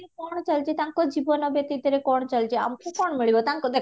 କ'ଣ ଚାଲିଛି ତାଙ୍କ ଜୀବନ ବ୍ୟତିତରେ କ'ଣ ଚାଲିଛି ଆମକୁ କ'ଣ ମିଳିବ ତାଙ୍କୁ ଦେଖ